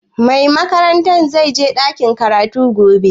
Mai makarantar zai je ɗakin karatu gobe?